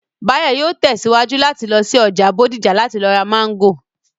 Báyọ̀ yóò tẹ̀síwájú láti lọ sí ọjà Bódìjà láti lọ ra Máńgò